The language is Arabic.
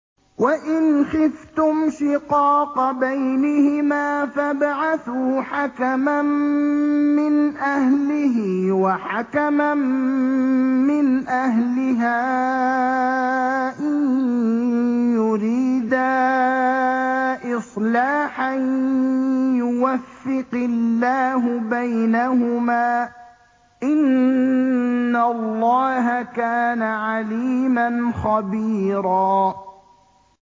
وَإِنْ خِفْتُمْ شِقَاقَ بَيْنِهِمَا فَابْعَثُوا حَكَمًا مِّنْ أَهْلِهِ وَحَكَمًا مِّنْ أَهْلِهَا إِن يُرِيدَا إِصْلَاحًا يُوَفِّقِ اللَّهُ بَيْنَهُمَا ۗ إِنَّ اللَّهَ كَانَ عَلِيمًا خَبِيرًا